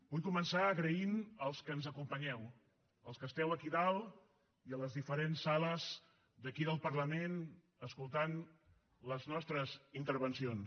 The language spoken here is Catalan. vull començar donant les gràcies als que ens acompanyeu als que esteu aquí dalt i a les diferents sales d’aquí del parlament escoltant les nostres intervencions